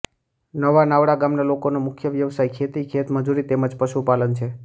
નવા નાવડા ગામના લોકોનો મુખ્ય વ્યવસાય ખેતી ખેતમજૂરી તેમ જ પશુપાલન છે